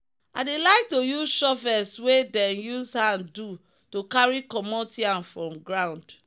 i dey like to use shovels wey dem use hand do to carry comot yam from ground